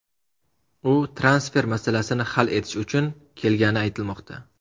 U transfer masalasini hal etish uchun kelgani aytilmoqda.